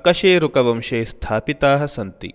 अकशेरुकवंशे स्थापिताः सन्ति